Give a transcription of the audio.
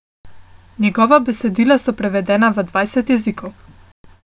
Njegova besedila so prevedena v dvajset jezikov.